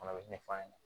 Fana bɛ ɲɛ f'a ɲɛna